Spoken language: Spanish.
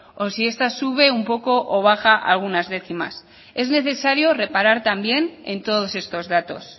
o si está sube un poco o baja algunas décimas es necesario reparar también en todos estos datos